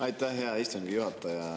Aitäh, hea istungi juhataja!